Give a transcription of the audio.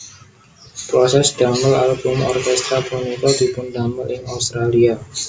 Prosés damel album orkéstra punika dipundamel ing Australia